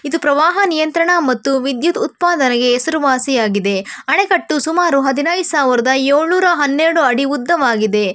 ಇದು ಪ್ರವಾಹ ನಿಯಂತ್ರಣ ಮತ್ತು ವಿದ್ಯುತ್ ಉತ್ಪಾದನೆಗೆ ಹೆಸರುವಾಸಿಯಾಗಿದೆ ಅಣೆಕಟ್ಟು ಸುಮಾರು ಹದಿನೈದು ಸಾವಿರದ ಏಳು ನೂರು ಹನ್ನೆರಡು ಅಡಿ ಉದ್ದವಾಗಿದೆ.